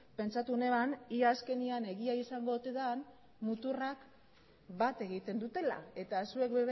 pentsatu neban ia azkenean egia izango ote den muturrak bat egiten dutela eta zuek